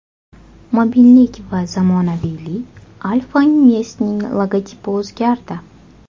Mobillik va zamonaviylik: Alfa Invest’ning logotipi o‘zgardi.